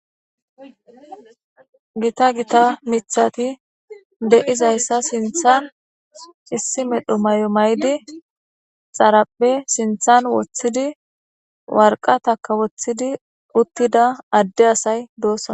Gita Gita mithat de'izaysa sinthan issi medho mayo mayid xaraphe sinthan wothid , waraqataka wothid utida Ade asay dosona.